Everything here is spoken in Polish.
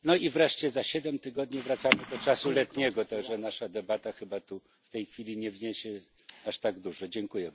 No i wreszcie za siedem tygodni wracamy do czasu letniego, tak że nasza debata chyba tu, w tej chwili nie wniesie aż tak wiele.